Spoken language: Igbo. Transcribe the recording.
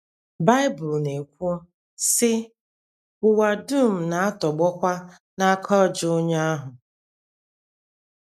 Bible na - ekwu, sị: “ Ụwa dum na - atọgbọkwa n’aka ajọ onye ahụ. ”